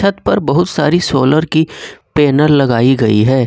छत पर बहुत सारी सोलर की पैनल लगाई गई है।